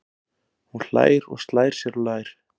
Hún hlær og slær sér á lær.